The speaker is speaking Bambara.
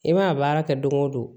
I mana a baara kɛ don o don